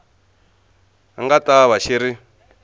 nga ta va xi ri